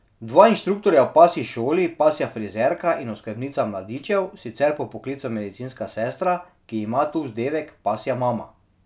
Dva inštruktorja v pasji šoli, pasja frizerka in oskrbnica mladičev, sicer po poklicu medicinska sestra, ki ima tu vzdevek pasja mama.